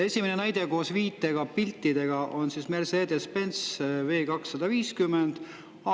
Esimene näide koos viitega ja piltidega on Mercedes-Benz V 250 kohta.